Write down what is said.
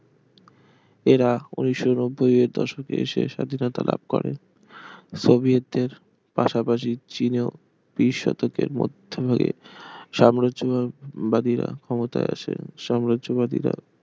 এরা উনিশশো নব্বই এর দশকে এসে স্বাধীনতা লাভ করে এরা সোভিয়েতদের পাশাপাশি চিনেও বিশ শতকের মধ্য ভাগে সাম্রাজ্যবাদীরা ক্ষমতায় আসে সাম্রাজ্যবাদীরা